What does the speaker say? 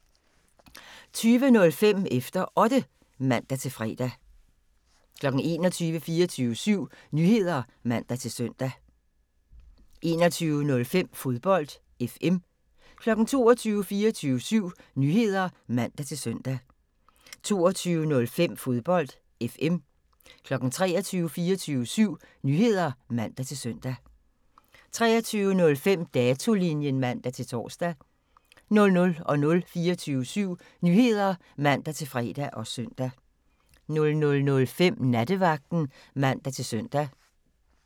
20:05: Efter Otte (man-fre) 21:00: 24syv Nyheder (man-søn) 21:05: Fodbold FM 22:00: 24syv Nyheder (man-søn) 22:05: Fodbold FM 23:00: 24syv Nyheder (man-søn) 23:05: Datolinjen (man-tor) 00:00: 24syv Nyheder (man-fre og søn) 00:05: Nattevagten (man-søn) 01:00: 24syv Nyheder (man-søn)